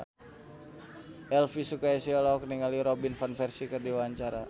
Elvi Sukaesih olohok ningali Robin Van Persie keur diwawancara